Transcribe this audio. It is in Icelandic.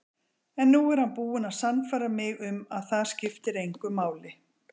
En nú er hann búinn að sannfæra mig um að það skiptir engu máli.